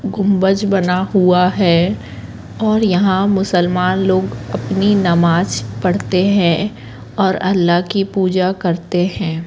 कुंभज बना हुआ है और यहां मुसलमान लोग अपनी नमाज भी पढ़ते हैं और अल्लाह की पूजा करते हैं।